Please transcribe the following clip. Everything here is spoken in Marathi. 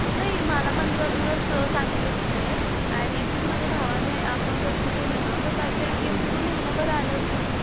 नाही मला पंधरा दिवस सांगितले आणि ऍक्चुअली माझ्या भावाने अकाउंट ओपन केलं ना तर त्याचं ATM जवळजवळ महिनाभर आलंच नाही.